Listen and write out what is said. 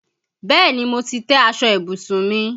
Bẹ́ẹ̀ni, mo ti tẹ́ aṣọ ìbùsùn mi.